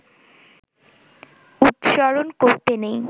উচ্চারণ করতে নেই